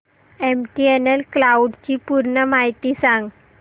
MTNL cloud ची पूर्ण माहिती सांग